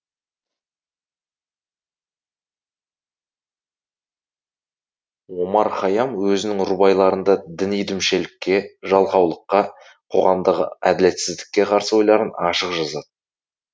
омар хайям өзінің рубайларында діни дүмшелікке жалқаулыққа қоғамдағы әділетсіздікке қарсы ойларын ашық жазады